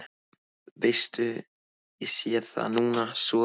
Veistu, ég sé það núna svo vel.